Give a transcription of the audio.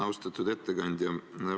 Austatud ettekandja!